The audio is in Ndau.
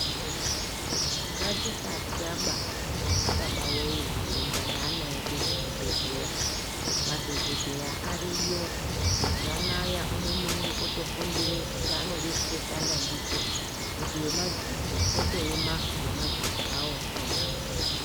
Ngatisatya ba ana baba woye kuenda naana edu kuzvibhedhleya madhokodheya ariyo mazuwa anaya umwe neumwe otofundire chaanode kutoshanda ndicho kuti wemadziso otoema ngemadziso awokhona.